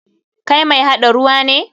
Kai mai haɗa ruwa ne?